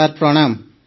sir ପ୍ରଣାମ